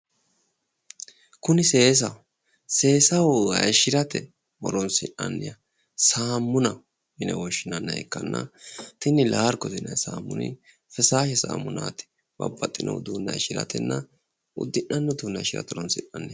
Kuni seesaho seesaho hayiishshirate horonsi'nanniha saamuna yine woshshinanniha ikkanna tini laargote yinayi saamuni fessaashe saamunaati babbaxxino uduune hayiishshiratenna uddi'nanni uduunne hayiishshirate horonsi'nanni